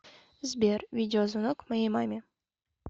сбер видео звонок моей маме